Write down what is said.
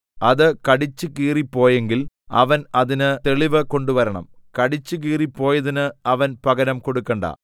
അത് കടിച്ചു കീറിപ്പോയെങ്കിൽ അവൻ അതിന് തെളിവ് കൊണ്ടുവരണം കടിച്ചു കീറിപ്പോയതിന് അവൻ പകരം കൊടുക്കണ്ട